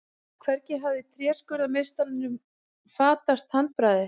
Hvergi hafði tréskurðarmeistaranum fatast handbragðið.